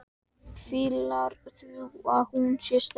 Hvíslar því að hún sé sterk.